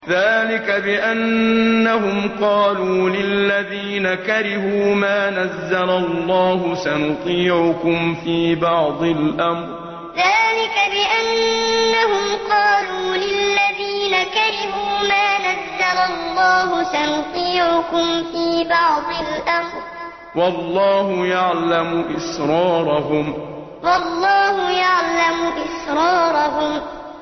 ذَٰلِكَ بِأَنَّهُمْ قَالُوا لِلَّذِينَ كَرِهُوا مَا نَزَّلَ اللَّهُ سَنُطِيعُكُمْ فِي بَعْضِ الْأَمْرِ ۖ وَاللَّهُ يَعْلَمُ إِسْرَارَهُمْ ذَٰلِكَ بِأَنَّهُمْ قَالُوا لِلَّذِينَ كَرِهُوا مَا نَزَّلَ اللَّهُ سَنُطِيعُكُمْ فِي بَعْضِ الْأَمْرِ ۖ وَاللَّهُ يَعْلَمُ إِسْرَارَهُمْ